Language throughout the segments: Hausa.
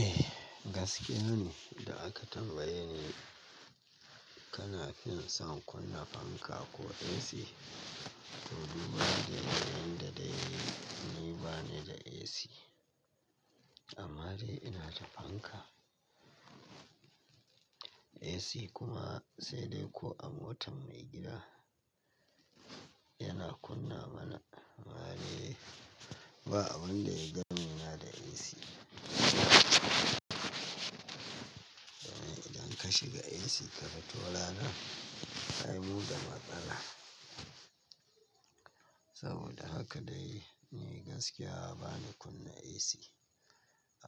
Eh gaskiya ne da aka tambaye ni. Kana fin son kunna fanka ko AC? To duya daya ne yadda dai ni bane da AC. Amma dai ina da fanka. AC kuma sai dai ko a motar maigida yana kunna mana. Amma dai ba abun da ya dami na da AC. Idan ka shiga AC ka fito lalal. Ai mu da matsala. Saboda haka dai ni gaskiya ba ni kunna AC.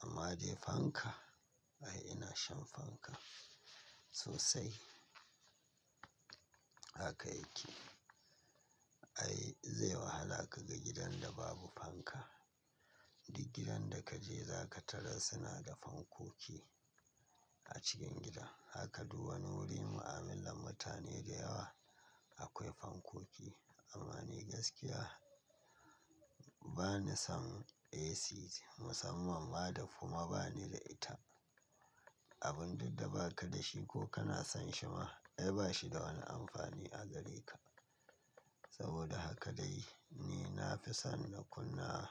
Amma dai fanka ai ina shan fanka sosai. Haka yake. Ai zai wahala ka ga gidan da babu fanka. Duk gidan da kaje za ka tarar suna da fankoki a cikin gida. Haka duk wani wuri mu'amillan mutane da yawa akwai fankoki. Amma ni gaskiya ba ni son AC musamman ma da kuma ba ni da ita. Abun duk da ba ka da shi ko kana son shi ma ai ba shi da wani amfani a gare ka. Saboda haka dai ni na fi son na kunna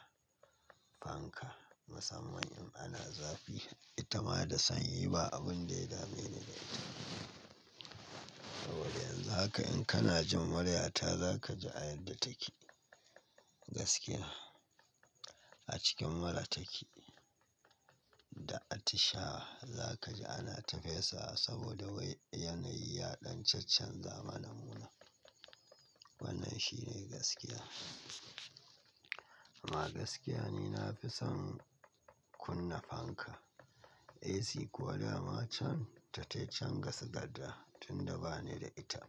fanka musamman in ana zafi. Ita ma da sanyi ba abun da ya dame ni da ita. Saboda yanzu haka in kana jin murya ta za ka ji a yadda take. Gaskiya a cikin mura take. Da atisha za ka ji ana tafesawa saboda wai yanayi ya ɗan chaccan za ma namuna. Wannan shi ne gaskiya. Amma gaskiya ni na fi son kunna fanka. AC kuwa dama can ta taitanci gasu gada tun da ba ni da ita.